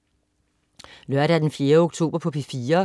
Lørdag den 4. oktober - P4: